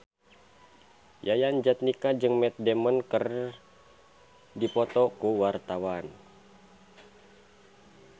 Yayan Jatnika jeung Matt Damon keur dipoto ku wartawan